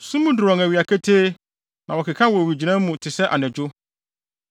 Sum duru wɔn awia ketee; na wɔkeka wɔ owigyinae mu te sɛ anadwo.